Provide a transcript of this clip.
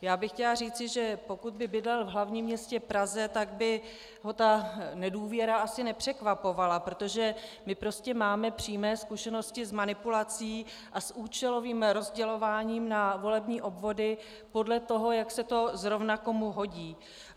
Já bych chtěla říci, že pokud by bydlel v hlavním městě Praze, tak by ho ta nedůvěra asi nepřekvapovala, protože my prostě máme přímo zkušenosti s manipulací a s účelovým rozdělováním na volební obvody podle toho, jak se to zrovna komu hodí.